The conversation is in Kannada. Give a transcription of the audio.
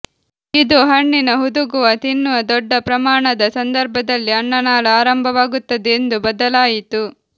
ಇದು ಹಣ್ಣಿನ ಹುದುಗುವ ತಿನ್ನುವ ದೊಡ್ಡ ಪ್ರಮಾಣದ ಸಂದರ್ಭದಲ್ಲಿ ಅನ್ನನಾಳ ಆರಂಭವಾಗುತ್ತದೆ ಎಂದು ಬದಲಾಯಿತು